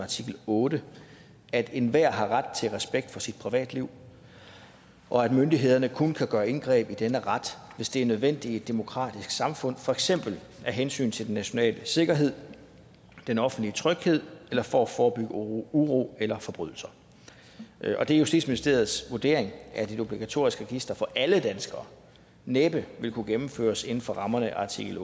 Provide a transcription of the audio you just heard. artikel otte at enhver har ret til respekt for sit privatliv og at myndighederne kun kan gøre indgreb i denne ret hvis det er nødvendigt i et demokratisk samfund for eksempel af hensyn til den nationale sikkerhed den offentlige tryghed eller for at forebygge uro uro eller forbrydelser det er justitsministeriets vurdering at et obligatorisk register for alle danskere næppe ville kunne gennemføres inden for rammerne af artikel